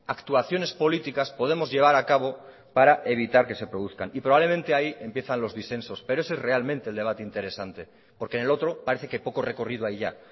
actuaciones políticas podemos llevar a cabo para evitar que se produzcan y probablemente ahí empiezan los disensos pero ese es realmente el debate interesante porque en el otro parece que poco recorrido hay ya